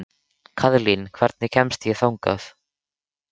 Kaðlín, hvernig kemst ég þangað?